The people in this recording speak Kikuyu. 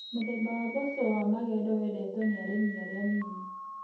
Mũthemba wa mboco wa magendo wendetwo nĩ arĩmi arĩa a nini.